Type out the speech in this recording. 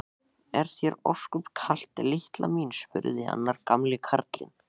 Er þér ósköp kalt litla mín? spurði annar gamli karlinn.